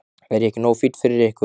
Er ég ekki nógu fínn fyrir ykkur?